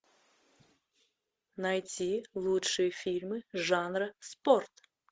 найти лучшие фильмы жанра спорт